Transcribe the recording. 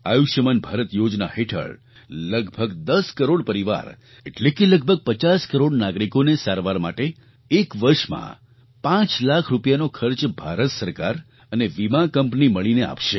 આયુષ્યમાન ભારત યોજના હેઠળ લગભગ 10 કરોડ પરિવાર એટલે કે લગભગ 50 કરોડ નાગરિકોને સારવાર માટે એક વર્ષમાં 5 લાખ રૂપિયાનો ખર્ચ ભારત સરકાર અને વીમા કંપની મળીને આપશે